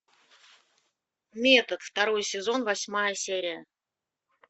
метод второй сезон восьмая серия